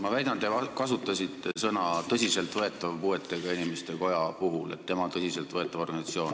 Ma väidan, et te kasutasite sõnu "tõsiselt võetav" puuetega inimeste koja kohta, et see on tõsiselt võetav organisatsioon.